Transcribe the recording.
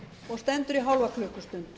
og stendur í hálfa klukkustund